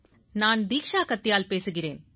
நான் தீக்ஷா கட்யால் பேசுகிறேன்